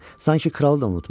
Sanki kralı da unutmuşdu.